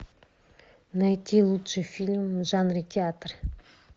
найти лучший фильм в жанре театр